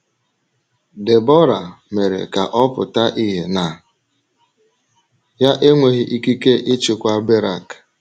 Debọra mere ka ọ pụta ìhè na ya enweghị ikike ịchịkwa Berak.